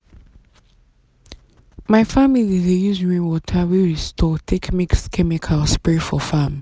my family dey use rainwater wey we store take mix chemical spray for farm. farm.